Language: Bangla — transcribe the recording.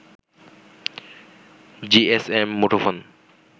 জিএসএম মুঠোফোন